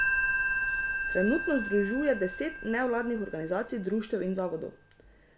Trenutno združuje deset nevladnih organizacij, društev in zavodov.